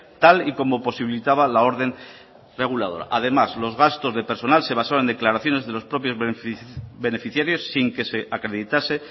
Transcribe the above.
tal y como posibilitaba la orden reguladora además los gastos de personal se basó en declaraciones de los propios beneficiarios sin que se acreditase